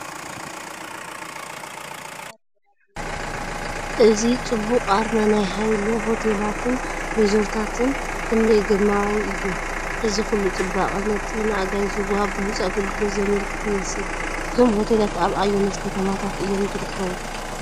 እዚ ጽቡቕ ኣርማ ናይ ሃይለ ሆቴላትን ሪዞርታትን ክንደይ ግርማዊ እዩ! እዚ ኩሉ ጽባቐ ነቲ ንኣጋይሽ ዝወሃብ ብሉጽ ኣገልግሎት ዘመልክት ይመስል። እዞም ሆቴላት ኣብ ኣየኖት ከተማታት እዮም ዝርከቡ?